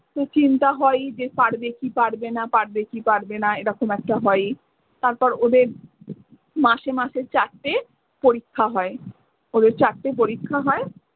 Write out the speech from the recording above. চিন্তা হয়ই যে পারবে কি পারবে না পারবে কি পারবে না এরকম একটা হয়ই। তারপর ওদের মাসে মাসে চারটে পরীক্ষা হয় ওদের চারটে পরীক্ষা হয়।